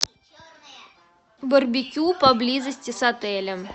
барбекю поблизости с отелем